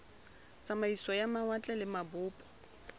tsamaiso ya mawatle le mabopo